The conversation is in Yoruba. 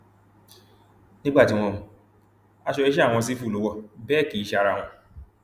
nígbà tí wọn mú un aṣọ iṣẹ àwọn sífù lọ wò bẹẹ kì í ṣe ara wọn